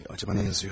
Görəsən nə yazır?